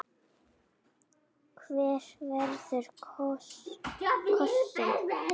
Hver verður kosinn?